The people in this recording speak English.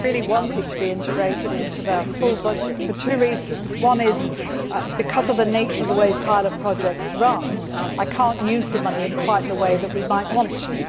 I really want it to be integrated into the full budget for two reasons. One is, because of the nature of the way pilot projects run, I cannot use the money in quite the way that we might want to.